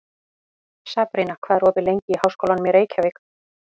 Sabrína, hvað er opið lengi í Háskólanum í Reykjavík?